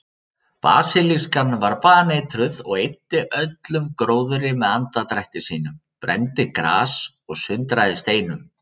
Basilískan var baneitruð og eyddi öllum gróðri með andardrætti sínum, brenndi gras og sundraði steinum.